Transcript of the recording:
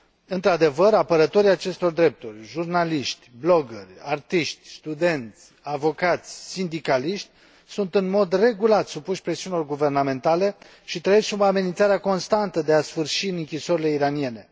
Într adevăr, apărătorii acestor drepturi jurnaliști, bloggeri, artiști, studenți, avocați, sindicaliști sunt în mod regulat supuși presiunilor guvernamentale și trăiesc sub amenințarea constantă de a sfârși în închisorile iraniene.